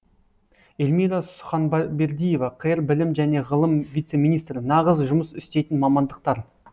эльмира суханбердиева қр білім және ғылым вице министрі нағыз жұмыс істейтін мамандықтар